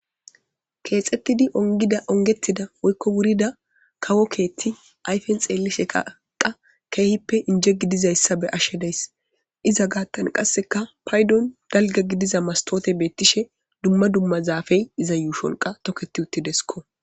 Keethetidi ungida ungettida woyko wurida kawo keethi ayfen xeelisheka qa keehippe inje gidizayssa be'ashe de'ayssi iza gaathan qaseka paydon dalgga gidiza mastotey beetishe dumma dumma zaafey iza yuushon toketi uttidesko.